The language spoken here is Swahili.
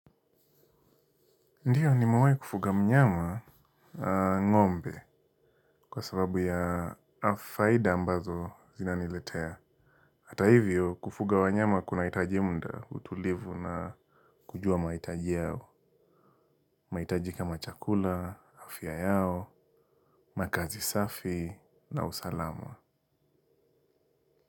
Ndiyo nimewahi kufuga mnyama ngombe kwa sababu ya faida ambazo zina niletea. Hata hivyo kufuga wanyama kuna itaji muda utulivu na kujua mahitaji yao. Mahitaji kama chakula, afya yao, makazi safi na usalama.